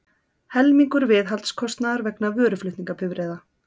Helmingur viðhaldskostnaðar vegna vöruflutningabifreiða